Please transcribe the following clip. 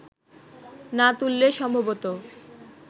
না তুললে সম্ভবত